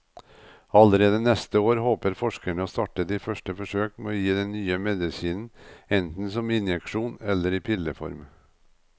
Allerede neste år håper forskerne å starte de første forsøk med å gi den nye medisinen enten som injeksjon eller i pilleform.